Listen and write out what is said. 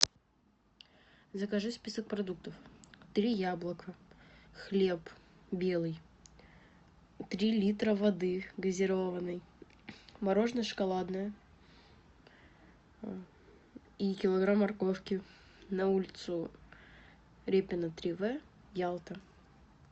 закажи список продуктов три яблока хлеб белый три литра воды газированной мороженное шоколадное и килограмм морковки на улицу репина три в ялта